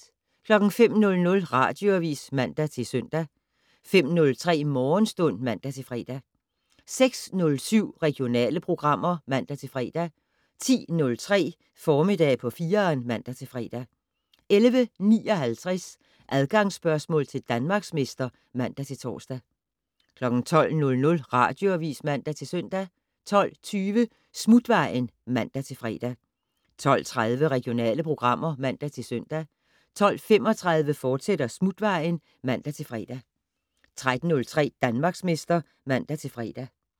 05:00: Radioavis (man-søn) 05:03: Morgenstund (man-fre) 06:07: Regionale programmer (man-fre) 10:03: Formiddag på 4'eren (man-fre) 11:59: Adgangsspørgsmål til Danmarksmester (man-tor) 12:00: Radioavis (man-søn) 12:20: Smutvejen (man-fre) 12:30: Regionale programmer (man-søn) 12:35: Smutvejen, fortsat (man-fre) 13:03: Danmarksmester (man-fre)